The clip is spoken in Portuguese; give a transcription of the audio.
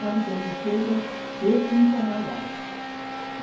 Fábrica de seda, preto não trabalhava.